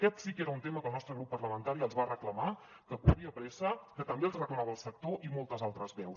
aquest sí que era un tema que el nostre grup parlamentari els va reclamar que corria pressa que també els hi reclamava el sector i moltes altres veus